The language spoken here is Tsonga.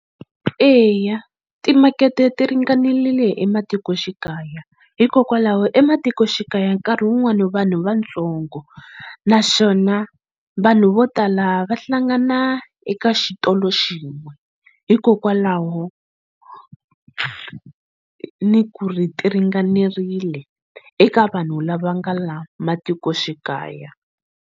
Eya timakete ti ringanerile ematikoxikaya hikokwalaho ematikoxikaya nkarhi wun'wani vanhu vatsongo naswona vanhu vo tala va hlangana eka xitolo xin'we hikokwalaho ni ku ri ti ringanerile eka vanhu lava nga la matikoxikaya.